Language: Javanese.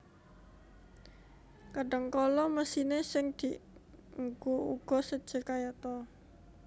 Kadhangkala mesiné sing dienggo uga séjé kayata